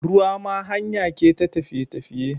Ruwa ma hanyake ta tafiye tafiye